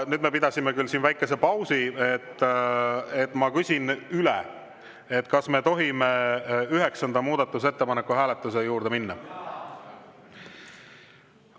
Nüüd me pidasime siin küll väikese pausi, nii et ma küsin üle: kas me tohime üheksanda muudatusettepaneku hääletuse juurde minna?